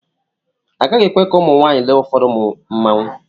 Agaghị ekwe ka ụmụ nwaanyị lee ụfọdụ mmanwụ.